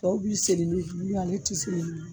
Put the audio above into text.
Tɔw b'i seli ni bulu ye ale ti seli